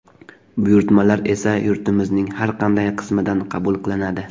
Buyurtmalar esa yurtimizning har qanday qismidan qabul qilinadi.